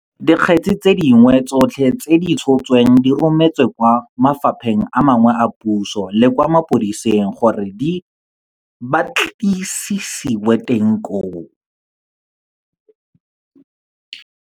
Dikgetse tse dingwe tsotlhe tse di tshotsweng di rometswe kwa mafapheng a mangwe a puso le kwa mapodising gore di ba tlisisiwe teng koo.